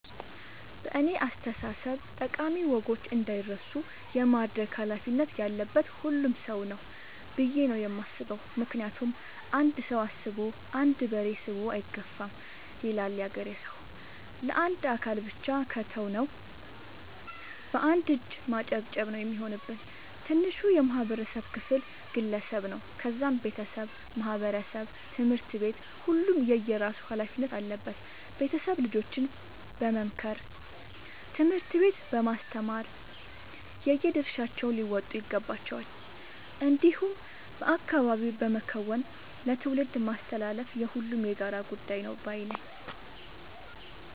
በእኔ አስተሳሰብ ጠቃሚ ወጎች እንዳይረሱ የማድረግ ኃላፊነት ያለበት ሁሉም ሰው ነው። ብዬ ነው የማስበው ምክንያቱም "አንድ ሰው አስቦ አንድ በሬ ስቦ አይገፋም " ይላል ያገሬ ሰው። ለአንድ አካል ብቻ ከተው ነው። በአንድ እጅ ማጨብጨብ ነው የሚሆንብን። ትንሹ የማህበረሰብ ክፍል ግለሰብ ነው ከዛም ቤተሰብ ማህበረሰብ ትምህርት ቤት ሁሉም የየራሱ ኃላፊነት አለበት ቤተሰብ ልጆችን በመምከር ትምህርት ቤት በማስተማር የየድርሻቸውን ሊወጡ ይገባቸዋል። እንዲሁም በአካባቢ በመከወን ለትውልድ ማስተላለፍ የሁሉም የጋራ ጉዳይ ነው ባይነኝ።